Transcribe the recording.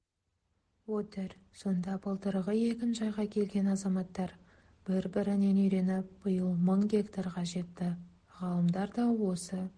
отыр сонда былтырғы егінжайға келген азаматтар бір-бірінен үйреніп биыл мың гектарға жетті ғалымдар да осы